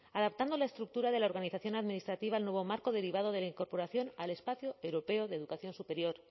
adaptando la estructura de la organización administrativa al nuevo marco derivado de la incorporación al espacio europeo de educación superior